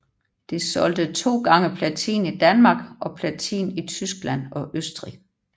Det solgte 2x platin i Danmark og platin i Tyskland og Østrig